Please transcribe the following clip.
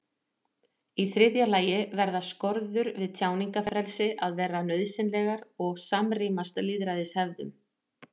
í þriðja lagi verða skorður við tjáningarfrelsi að vera nauðsynlegar og samrýmast lýðræðishefðum